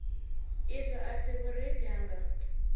izwo a si vhurufhi hanga